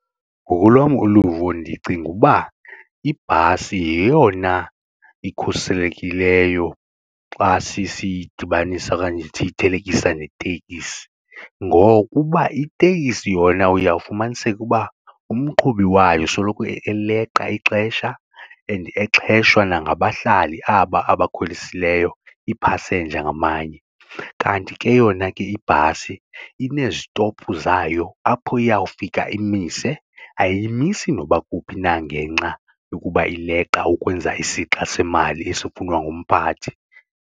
Ngokolwam uluvo ndicinga uba ibhasi yeyona ikhuselekileyo xa sisiyidibanisa okanye siyithelekisa neteksi ngokuba itekisi yona uyawufumaniseka uba umqhubi wayo soloko eleqa ixesha and exheshwa nangabahlali aba abakhwelisileyo iipasenja ngamanye. Kanti ke yona ke ibhasi inezitophu zayo apho iyawufika imise, ayimisi noba kuphi na ngenxa yokuba ileqa ukwenza isixa semali esifunwa ngumphathi.